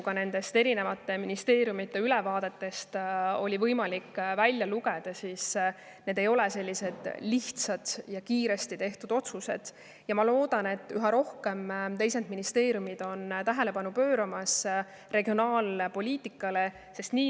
Ka nendest ministeeriumide ülevaadetest oli võimalik välja lugeda, et need ei ole olnud lihtsad ja kiiresti tehtud otsused, ja ma loodan, et kõik ministeeriumid pööravad regionaalpoliitikale üha rohkem tähelepanu.